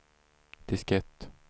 diskett